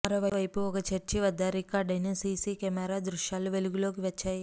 మరోవైపు ఒక చర్చి వద్ద రికార్డైన సిసి కెమెరా దృశ్యాలు వెలుగులోకి వచ్చాయి